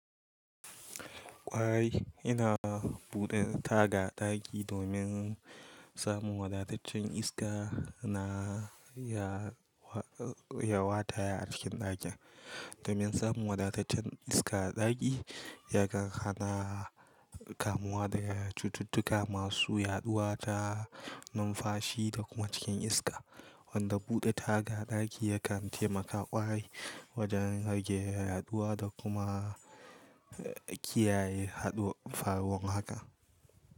Kwarai ina buɗe taga a ɗaki domin samun wadataccen iska na ya wataya, a cikin ɗakin. Domin samun wadataccen iska a ɗaki, ya kan hana kamuwa da cututtuka masu yaɗuwa ta numfashi da kuma cikin iska. Wanda buɗe taga a ɗaki ya kan taimaka kwarai wajen rage yaɗuwa da kuma kiyaye haɗuwar faruwar haka.